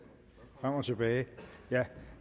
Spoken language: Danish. at og gå tilbage jeg